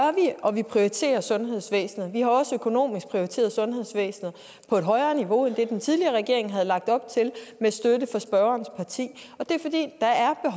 og vi prioriterer sundhedsvæsenet vi har også økonomisk prioriteret sundhedsvæsenet på et højere niveau end det den tidligere regering havde lagt op til med støtte fra spørgerens parti